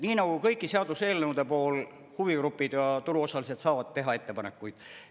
Nii nagu kõigi seaduseelnõude puhul, huvigrupid ja turuosalised saavad teha ettepanekuid.